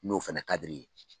N'o fana kad' i ye.